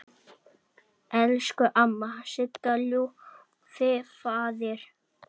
Elsku amma Sigga, Ljúfi faðir!